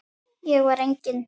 Ég var eigin